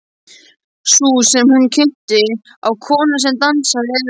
Sú sem hún minnti á, konan sem dansaði, eða.